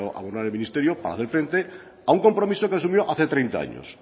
abonar el ministerio para hacer frente a un compromiso que asumió hace treinta años